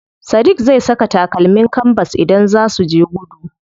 Sadiq zai saka takalmin kanbas idan zaa suje gudu.